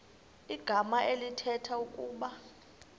igama elithetha ukuba